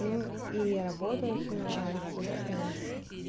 ну и работа все наладится вот